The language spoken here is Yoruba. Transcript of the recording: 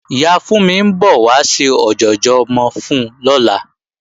Ìyá Fúnmi ń bọ̀ wá ṣe ọ̀jọ̀jọ̀ ọmọ fún lọ́la